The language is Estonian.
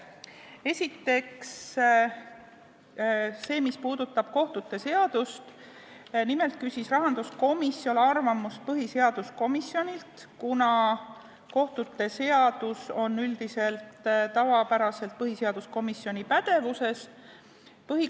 Esiteks, kohtute seaduse kohta küsis rahanduskomisjon arvamust põhiseaduskomisjonilt, see seadus on tavapäraselt põhiseaduskomisjoni pädevuses.